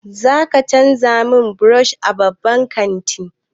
Za ka canza min brush a babban kanti?